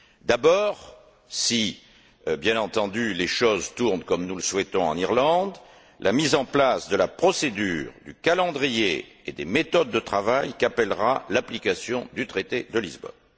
D'abord, si, bien entendu, les choses tournent comme nous le souhaitons en Irlande, la mise en place de la procédure, du calendrier et des méthodes de travail qu'appellera l'application du traité de Lisbonne.